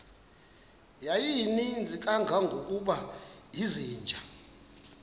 yayininzi kangangokuba izinja